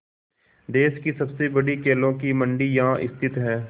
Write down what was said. देश की सबसे बड़ी केलों की मंडी यहाँ स्थित है